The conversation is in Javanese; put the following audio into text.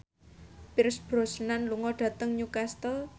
Pierce Brosnan lunga dhateng Newcastle